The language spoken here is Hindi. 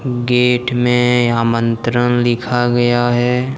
गेट में आमंत्रण लिखा गया है।